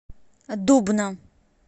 дубна